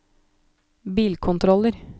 bilkontroller